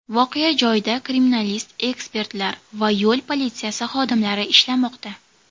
Voqea joyida kriminalist-ekspertlar va yo‘l politsiyasi xodimlari ishlamoqda.